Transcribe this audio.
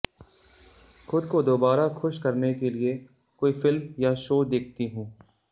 खुद को दोबारा खुश करने के लिए कोई फिल्म या शो देखती हूं